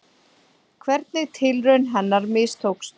Hvernig tilraun hennar mistókst.